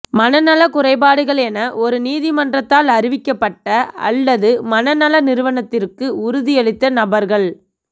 மனநல குறைபாடுகள் என ஒரு நீதிமன்றத்தால் அறிவிக்கப்பட்ட அல்லது மனநல நிறுவனத்திற்கு உறுதியளித்த நபர்கள்